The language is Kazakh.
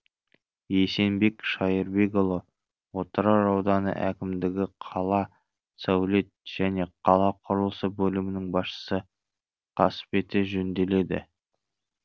есенбек шайырбекұлы отырар ауданы әкімдігі қала сәулет және қала құрылысы бөлімінің басшысы қас беті жөнеделеді